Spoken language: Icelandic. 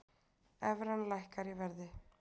Evran lækkar í verði